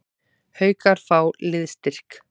Haukar fá liðsstyrk